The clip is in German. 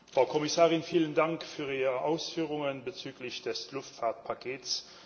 Frau Kommissarin, vielen Dank für Ihre Ausführungen bezüglich des Luftfahrtpakets.